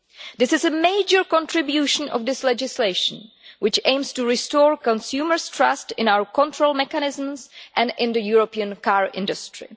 This is a major contribution to the legislation, which aims to restore consumers' trust in our control mechanisms and in the European car industry.